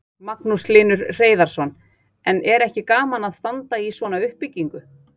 Magnús Hlynur Hreiðarsson: En er ekki gaman að standa í svona uppbyggingu?